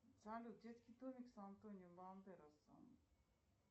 салют детский домик с антонио бандеросом